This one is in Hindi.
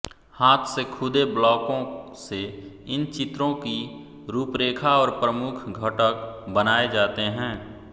हाथ से खुदे ब्लाकों से इन चित्रों की रूपरेखा और प्रमुख घटक बनाए जाते हैं